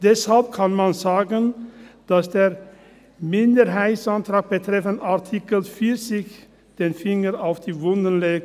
Deshalb kann man sagen, dass der Minderheitsantrag betreffend Artikel 40 den Finger auf die Wunde legt.